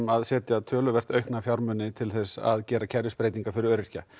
að setja töluvert aukna fjármuni til þess að gera kerfisbreytingar fyrir öryrkja